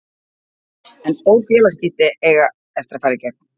En stór félagsskipti eiga eftir að fara í gegn.